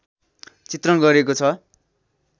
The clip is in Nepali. चित्रण गरिएको छ